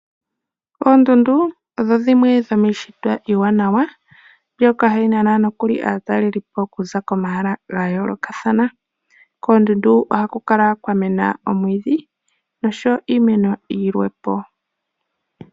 Oondundu odho dhimwe dho mii shitwa iiwaanawa ndhoka ha dhi nana aa takelipo okuza komahala ga yoolokathana. Koondundu ohaku kala kwa mena omwiidhi nosho woo iimeno ya yoolokathana.